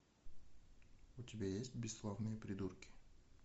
у тебя есть бесславные придурки